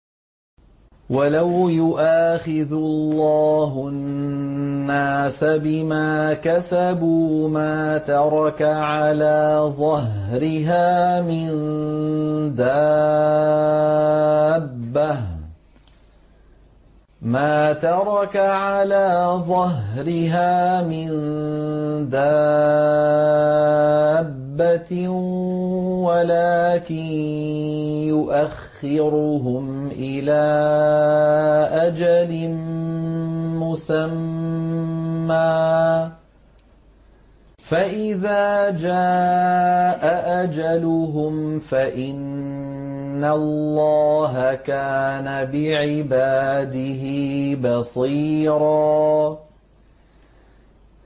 وَلَوْ يُؤَاخِذُ اللَّهُ النَّاسَ بِمَا كَسَبُوا مَا تَرَكَ عَلَىٰ ظَهْرِهَا مِن دَابَّةٍ وَلَٰكِن يُؤَخِّرُهُمْ إِلَىٰ أَجَلٍ مُّسَمًّى ۖ فَإِذَا جَاءَ أَجَلُهُمْ فَإِنَّ اللَّهَ كَانَ بِعِبَادِهِ بَصِيرًا